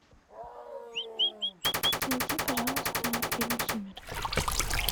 найди пожалуйста фильм сумерки